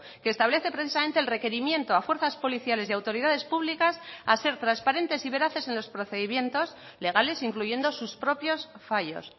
que establece precisamente el requerimiento a fuerzas policiales y a autoridades públicas a ser transparentes y veraces en los procedimientos legales incluyendo sus propios fallos